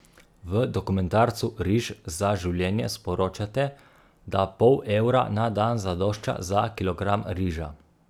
V dokumentarcu Riž za življenje sporočate, da pol evra na dan zadošča za kilogram riža.